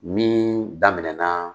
Min daminɛna